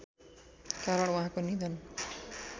कारण उहाँको निधन